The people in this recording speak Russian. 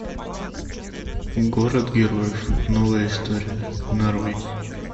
город героев новая история нарой